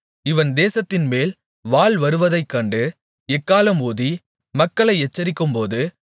இவன் தேசத்தின்மேல் வாள் வருவதைக்கண்டு எக்காளம் ஊதி மக்களை எச்சரிக்கும்போது